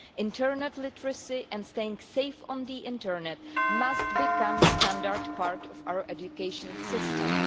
Internet literacy and staying safe on the internet must become a standard part of our education systems.